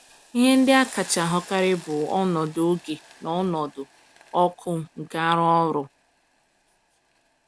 Ihe ndị a kacha ahụkarị bụ ọnọdụ oge na ọnọdụ ọkụ nke arụ ọrụ.